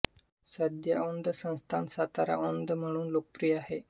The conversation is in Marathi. सध्या औंध संस्थान सातारा औंध म्हणून लोकप्रिय आहे